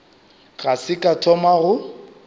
ga se ka thoma go